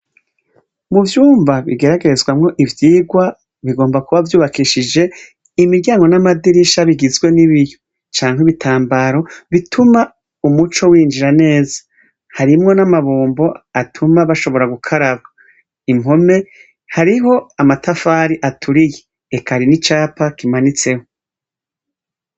Muvyumba kigeragerezwamwo ivyirwa, bigomba kuba vyubakishije imiryango n’amadirisha bigizwe n’ibiyo, canke ibitambaro bituma umuco winjira neza, harimwo n'amabombo atuma bashobora gukaraba. Impome hariho amatafari aturiye eka harimwo n'icapa kimanitseho.